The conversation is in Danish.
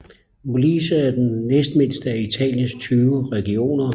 Molise er den næstmindste af Italiens 20 regioner